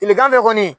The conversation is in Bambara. Tilegan fɛ kɔni